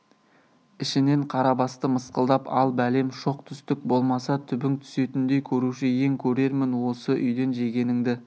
ішінен қарабасты мысқылдап ал бәлем шоқ түстік болмаса түбің түсетіндей көруші ең көрермін осы үйден жегеніңді